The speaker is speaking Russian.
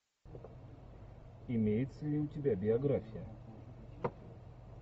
имеется ли у тебя биография